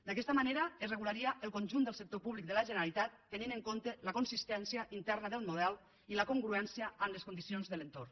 d’aquesta manera es regularia el conjunt del sector públic de la generalitat tenint en compte la consistència interna del model i la congruència amb les condicions de l’entorn